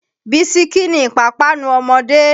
Bisikí ni ìpápánu ọmọdé